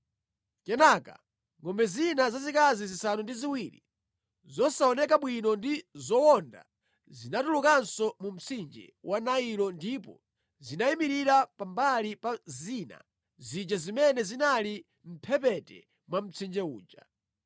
Kenaka ngʼombe zina zazikazi zisanu ndi ziwiri zosaoneka bwino ndi zowonda zinatulukanso mu mtsinje wa Nailo ndipo zinayimirira pambali pa zina zija zimene zinali mʼmphepete mwa mtsinje uja.